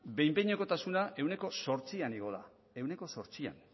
behin behinekotasuna ehuneko zortzian igoa da ehuneko zortzian